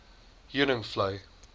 heuningvlei